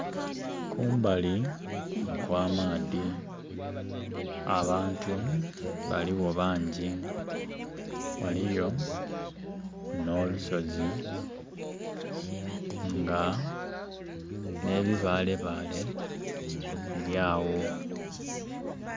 Kumbali okw'amaadhi abantu baliwo bangi waliyo n'olusozi nga nebibalebale bili awo.